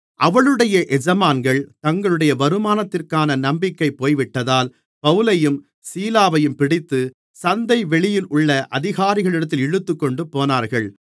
அவளுடைய எஜமான்கள் தங்களுடைய வருமானத்திற்கான நம்பிக்கை போய்விட்டதால் பவுலையும் சீலாவையும் பிடித்து சந்தைவெளியிலுள்ள அதிகாரிகளிடத்தில் இழுத்துக்கொண்டுபோனார்கள்